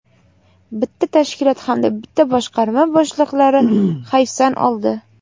bitta tashkilot hamda bitta boshqarma boshliqlari hayfsan oldi.